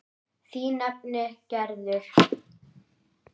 Þín nafna Gerður.